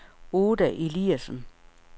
Oda Eliasen